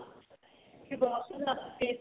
ਚ ਬਹੁਤ ਜਿਆਦਾ